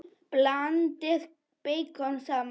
Blandið beikoni saman.